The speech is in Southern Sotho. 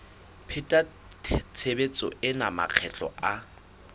pheta tshebetso ena makgetlo a